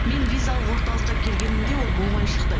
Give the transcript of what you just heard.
мен визалық орталыққа келгенімде ол болмай шықты